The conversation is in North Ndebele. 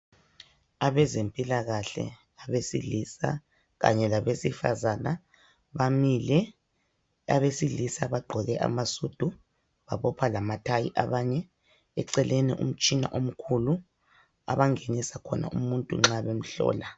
Abezempilakahle abesilisa Kanye labesifazana bamile abesilisa bagqoke amasudu babopha Lama thayi abame eceleni komtshina omkhulu abangenisa khona umuntu nxa bemhlola